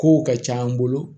Kow ka ca an bolo